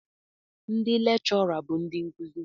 Ndị lechura bụ ndị nkuzi.